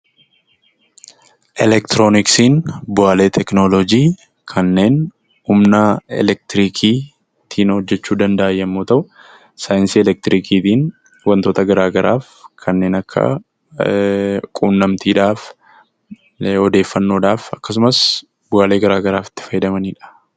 Elektirooniksiin bu'aalee teekinooloojii kanneen humna elektirikiitiin hojjechuu danda'an yommuu ta'u, saayinsii elektirikiitiin waantota garaa garaaf kanneen akka qunnamtiidhaaf, odeeffannoodhaaf akkasumas bu'aalee garaa garaaf itti fayyadamanidha.